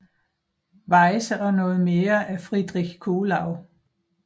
Weyse og noget mere af Friedrich Kuhlau